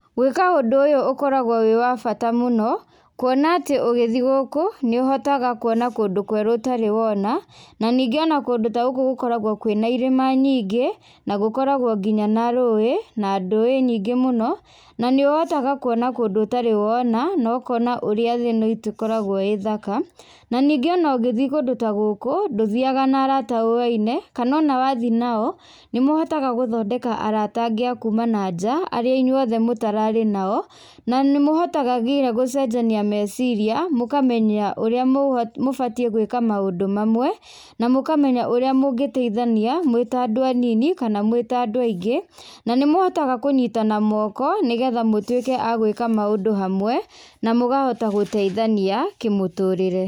Gwĩka ũndũ ũyũ ũkoragwo wĩ wa bata mũno, kuona atĩ ũgĩthiĩ gũkũ nĩũhotaga kuona kũndũ kwerũ ũtarĩ wona. Na ningĩ ona kũndũ ta gũkũ nĩgũkoragwo kwĩna irĩma nyingĩ na gũkoragwo nginya na rũĩ na ndũĩ nyingĩ mũno. Na nĩũhotaga kuona kũndũ ũtarĩ wona na ũkona ũrĩa thĩ ĩno itũ ĩkoragwo ĩ thaka. Na ningĩ o na ũngĩthiĩ kũndũ ta gũkũ ndũthiaga na arata ũwaine, kana ona wathiĩ nao nĩmũhotaga gũthondeka arata angĩ akuma na nja arĩa inyuothe mũtararĩ nao. Na nĩ mũhotaga nginya gũcenjania meciria, mũkamenya ũrĩa mũbatiĩ gwĩka maũndũ mamwe na mũkamenya ũrĩa mũngĩteithania mũrĩ ta andũ anini kana mwĩ ta andũ aingĩ, na nĩ mũhotaga kũnyitana moko, nĩgetha mũtuĩke a gwĩka maũndũ hamwe na mũkahota gũteithania kĩmũtũrĩre.